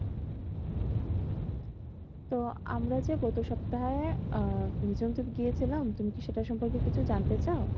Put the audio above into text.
তো আমরা যে গত সপ্তাহে আহ নিঝুম দ্বীপ গিয়েছিলাম তুমি কি সেটা সম্পর্কে কিছু জানতে চাও?